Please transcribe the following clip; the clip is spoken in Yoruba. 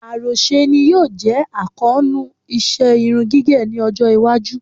Àròṣe ni yóò jẹ́ àkóónú iṣẹ́ irun gígẹ̀ ní ọjọ́-iwájú.